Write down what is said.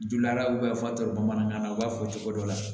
Dula fa tɛ bamanankan na u b'a fɔ cogo dɔ la